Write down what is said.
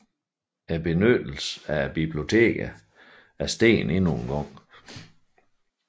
Benyttelsen af bibliotekerne steg endnu en gang